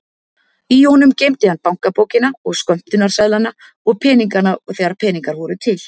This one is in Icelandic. Í honum geymdi hann bankabókina og skömmtunarseðlana og peningana þegar peningar voru til.